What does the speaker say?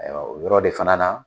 Mɛ la yɔrɔ de fana na